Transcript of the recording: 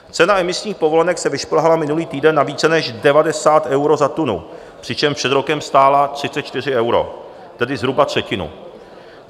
Cena emisních povolenek se vyšplhala minulý týden na více než 90 euro za tunu, přičemž před rokem stála 34 euro, tedy zhruba třetinu.